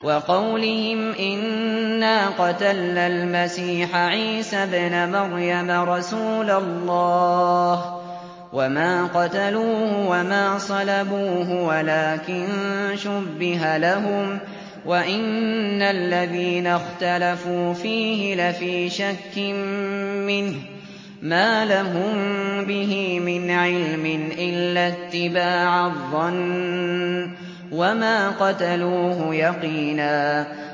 وَقَوْلِهِمْ إِنَّا قَتَلْنَا الْمَسِيحَ عِيسَى ابْنَ مَرْيَمَ رَسُولَ اللَّهِ وَمَا قَتَلُوهُ وَمَا صَلَبُوهُ وَلَٰكِن شُبِّهَ لَهُمْ ۚ وَإِنَّ الَّذِينَ اخْتَلَفُوا فِيهِ لَفِي شَكٍّ مِّنْهُ ۚ مَا لَهُم بِهِ مِنْ عِلْمٍ إِلَّا اتِّبَاعَ الظَّنِّ ۚ وَمَا قَتَلُوهُ يَقِينًا